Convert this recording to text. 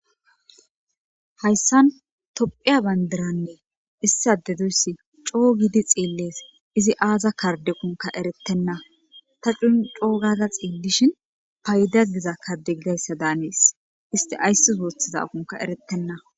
hayssan tophiya bandiranne issade doyssi coo giidi xeellees izi aaza karde kunka erettenna ta cun coogaza xeellishin payda diza kade gigayssa daanees isti ayssis woothiza ukunka erettenna